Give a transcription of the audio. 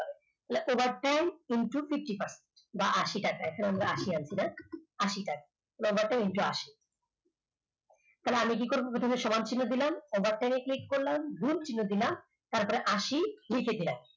তাহলে overtime into pt বা আশি টাকা এখানে আমরা আশি আনছি না আশি টাকা বেতন into আশি তাহলে আমি কি করব প্রথমে সমান চিহ্ন দিলাম overtime click করলাম গুণ চিহ্ন দিলাম তারপরে আশি লিখে দিলাম